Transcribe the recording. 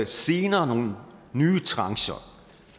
senere nogle nye trancher